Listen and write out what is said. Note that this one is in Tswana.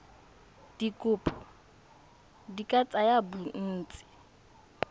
dikopo di ka tsaya bontsi